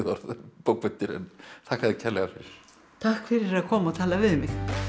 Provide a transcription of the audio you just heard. bókmenntir þakka þér kærlega fyrir takk fyrir að koma og tala við mig